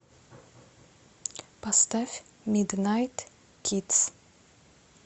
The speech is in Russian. поставь миднайт кидс